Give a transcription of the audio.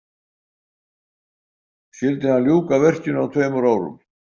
Skyldi hann ljúka verkinu á tveimur árum.